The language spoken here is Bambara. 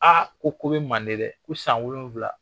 A ko ko bɛ manden dɛ ! Ko san wolonwula?